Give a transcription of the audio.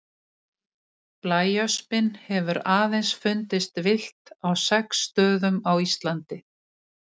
Blæöspin hefur aðeins fundist villt á sex stöðum á Íslandi.